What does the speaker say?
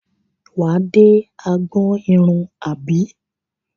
Wà á dé agbọn irun àbí?